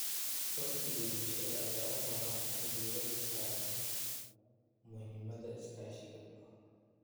Uhdhigga bulshada ayaa u baahan in uu diiradda saaro muhiimadda iskaashiga.